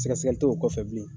Sɛgɛsɛgɛli t'o kɔfɛ bilen.